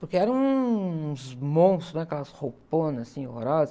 Porque eram uns monstros, aquelas rouponas assim, horrorosas.